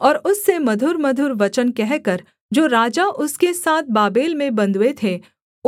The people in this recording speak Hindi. और उससे मधुरमधुर वचन कहकर जो राजा उसके साथ बाबेल में बँधुए थे